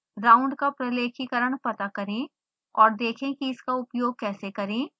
round का प्रलेखीकरण पता करें और देखें कि इसका उपयोग कैसे करें